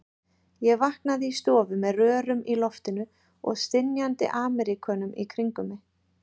Ég vaknaði í stofu með rörum í loftinu og stynjandi Ameríkönum í kringum mig.